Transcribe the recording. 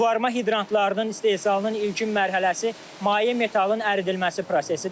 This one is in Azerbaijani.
Suvarma hidrantlarının istehsalının ilkin mərhələsi maye metalın əridilməsi prosesidir.